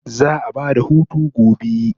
Za'a ba da hutu gobe